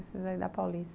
Esses aí da Paulista.